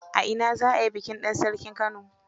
A ina za a yi bikin dan sarkin Kano?